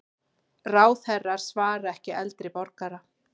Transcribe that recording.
Ráðherrar svara ekki eldri borgara